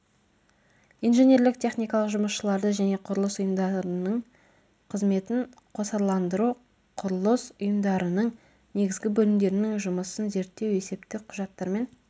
инженерлік техникалық жұмысшыларды және құрылыс ұйымдарының қызметін қосарландыру құрылыс ұйымдарының негізгі бөлімдерінің жұмысын зерттеу есептік құжаттармен